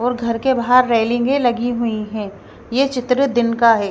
और घर के बाहर रेलिंगें लगी हुई हैं ये चित्र दिन का है।